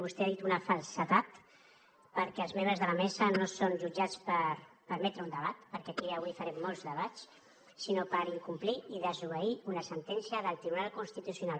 vostè ha dit una falsedat perquè els membres de la mesa no són jutjats per permetre un debat perquè aquí avui farem molts debats sinó per incomplir i desobeir una sentència del tribunal constitucional